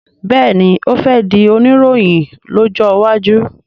béèni o fè dì Oníròhìn lójó waju.